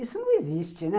Isso não existe, né?